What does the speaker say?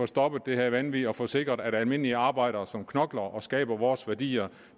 stoppet det her vanvid og få sikret at almindelige arbejdere som knokler og skaber vores værdier